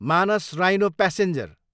Manas rhino passenger